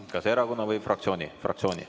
Kas erakonna või fraktsiooni nimel?